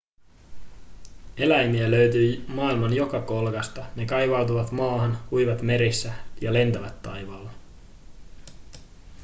eläimiä löytyy maailman joka kolkasta ne kaivautuvat maahan uivat merissä ja lentävät taivaalla